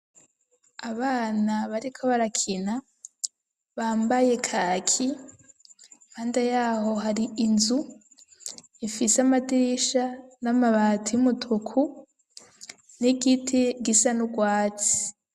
Abana bariko barakina bambaye kaki impande yaho hari inzu ifise amadirisha n'amabati y'umutuku n'igiti gisa n'urwatsi .